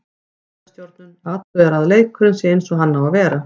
Gæðastjórnun, athugað að leikurinn sé eins og hann á að vera.